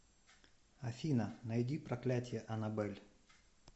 афина найди проклятье анабель